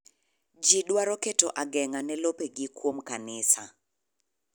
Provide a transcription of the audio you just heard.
Ji dwaro keto ageng'a ne lope gi kuom kanisa.